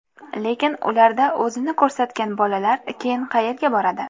Lekin ularda o‘zini ko‘rsatgan bolalar keyin qayerga boradi?